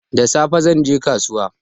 Da safe zan je kasuwa